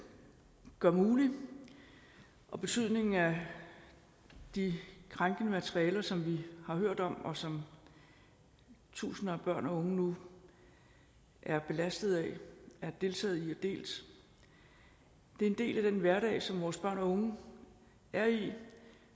gør mulig og betydningen af de krænkende materialer som vi har hørt om og som tusinder af børn og unge nu er belastet af har deltaget i og delt er en del af den hverdag som vores børn og unge er i